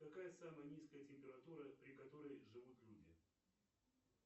какая самая низкая температура при которой живут люди